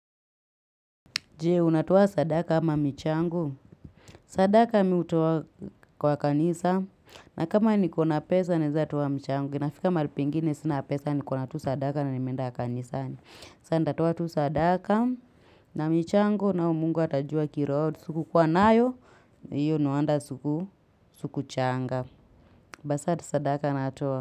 Jee, unatoa sadaka ama michango. Sadaka mi hutoa kwa kanisa. Na kama niko na pesa, naeza toa michango. Inafika mahali pingine sina pesa, nikona tu sadaka na nimeenda kanisani. Saa, nitatoa tu sadaka na michango nao mungu atajua kiro. Sikukuwa nayo, hiyo no wonder suku changa. Basi adi sadaka natoa.